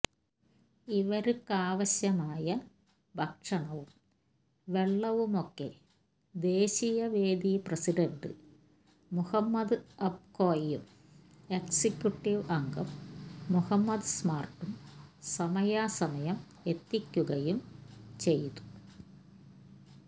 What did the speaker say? ഇവര്ക്കാവശ്യമായ ഭക്ഷണവും വെള്ളവുമൊക്കെ ദേശീയവേദി പ്രസിഡണ്ട് മുഹമ്മദ് അബ്കോയും എക്സിക്യൂട്ടീവ് അംഗം മുഹമ്മദ് സ്മാര്ട്ടും സമയാസമയം എത്തിക്കുകയും ചെയ്തു